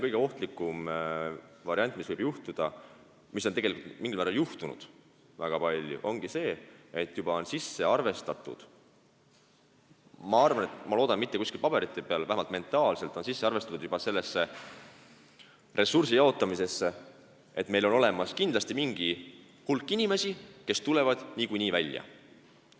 Kõige ohtlikum variant, mis võib juhtuda ja mis ongi tegelikult mingil määra juhtunud, on see, et on juba arvestatud – ma loodan, et mitte paberi peal, aga vähemalt mentaalselt – selle ressursiga, sellega, et meil on kindlasti olemas mingi hulk inimesi, kes niikuinii välja tulevad.